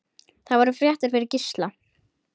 Það voru fréttir fyrir Gísla.